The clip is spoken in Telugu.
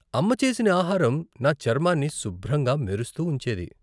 అమ్మ చేసిన ఆహారం నా చర్మాన్ని శుభ్రంగా మెరుస్తూ ఉంచేది.